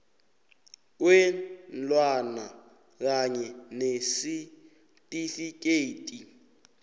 kweenlwana kanye nesitifikhethi